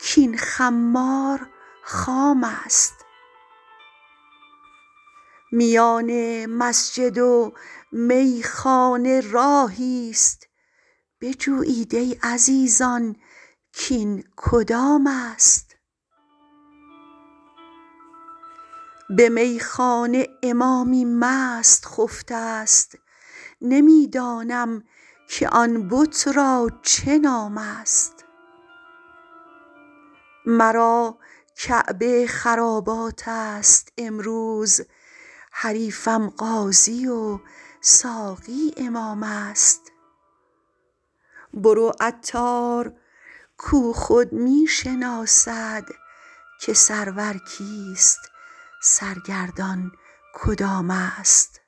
کین خمار خام است میان مسجد و میخانه راهی است بجویید ای عزیزان کین کدام است به میخانه امامی مست خفته است نمی دانم که آن بت را چه نام است مرا کعبه خرابات است امروز حریفم قاضی و ساقی امام است برو عطار کو خود می شناسد که سرور کیست سرگردان کدام است